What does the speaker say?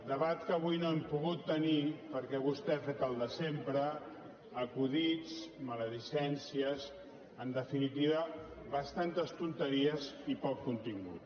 debat que avui no hem pogut tenir perquè vostè ha fet el de sempre acudits maledicències en definitiva bastantes tonteries i poc contingut